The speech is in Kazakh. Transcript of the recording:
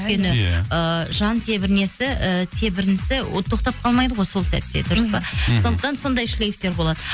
иә өйткені ыыы жан і тебірінісі ол тоқтап қалмайды ғой сол сәтте дұрыс па мхм сондықтан сондай шлифтер болады